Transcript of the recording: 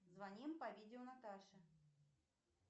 звоним по видео наташе